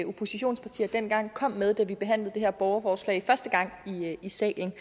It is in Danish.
oppositionspartier dengang kom med da vi behandlede det her borgerforslag i salen